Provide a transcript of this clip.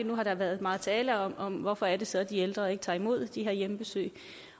nu har der været meget tale om om hvorfor det så er de ældre ikke tager imod de her hjemmebesøg